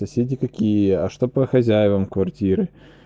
соседи какие а что по хозяевам квартиры